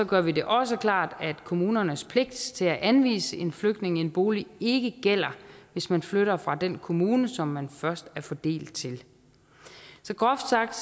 gør vi det også klart at kommunernes pligt til at anvise en flygtning en bolig ikke gælder hvis man flytter fra den kommune som man først er fordelt til så groft sagt